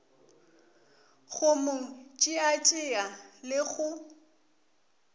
go mo tšeatšea le go